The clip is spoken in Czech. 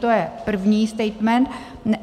To je první statement.